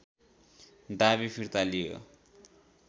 दावी फिर्ता लियो